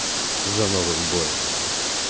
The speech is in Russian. за новым боем